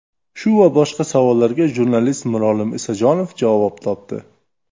Shu va boshqa savollarga jurnalist Mirolim Isajonov javob topdi.